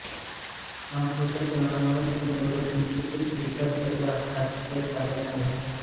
अफूच्या सेवनामुळे त्याचे डोळे किंचित फिकट वाटतात ते काळे आहेत